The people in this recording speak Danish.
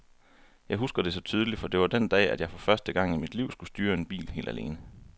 Jeg husker det så tydeligt, for det var den dag, at jeg for første gang i mit liv skulle styre en bil helt alene.